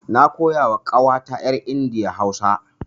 Na koya wa ƙawata yar India Hausa.